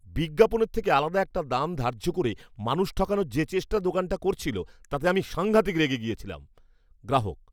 বিজ্ঞাপনের থেকে আলাদা একটা দাম ধার্য করে মানুষ ঠকানোর যে চেষ্টা দোকানটা করছিল, তাতে আমি সাঙ্ঘাতিক রেগে গিয়েছিলাম। গ্রাহক